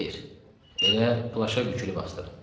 Xeyr, elə plaşa bükülüb astırım.